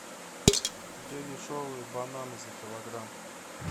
где дешевые бананы за килограмм